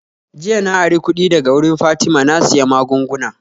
Jiya na ari kudi daga wurin fatima na siya maggunguna